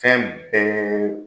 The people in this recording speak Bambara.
Fɛn bɛɛ